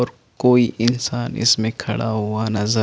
और कोई इंसान इसमें खड़ा हुआ नज़र --